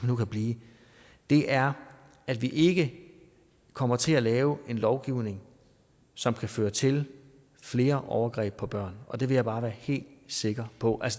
nu kan blive er at vi ikke kommer til at lave en lovgivning som kan føre til flere overgreb på børn og det vil jeg bare være helt sikker på